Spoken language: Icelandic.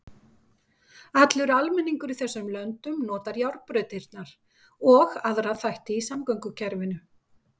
Allur almenningur í þessum löndum notar járnbrautirnar og aðra þætti í samgöngukerfinu.